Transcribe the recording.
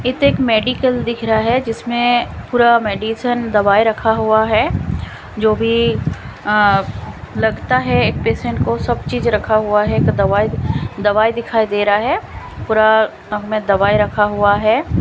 इत्ते एक मेडीकल दिख रहा है जिसमें पूरा मेडिसन दवाई रखा हुआ है जो भी अ लगता है एक पेशंट को सब चीज रखा हुआ है एक दवाई दवाई दिखाई दे रहा है पूरा अ में दवाई रखा हुआ है।